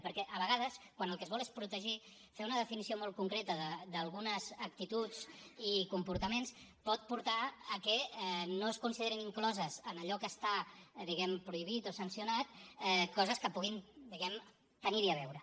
perquè a vegades quan el que es vol és protegir fer una definició molt concreta d’algunes actituds i comportaments pot portar a que no es considerin incloses en allò que està diguem ne prohibit o sancionat coses que puguin tenir hi a veure